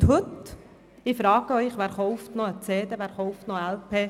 Und heute, frage ich Sie, wer kauft noch eine CD oder eine LP?